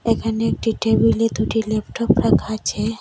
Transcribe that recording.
এখানে একটি টেবিলে দুটি ল্যাপটপ রাখা আছে।